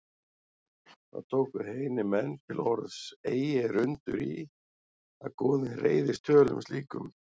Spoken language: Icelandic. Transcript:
Þá tóku heiðnir menn til orðs: Eigi er undur í, að goðin reiðist tölum slíkum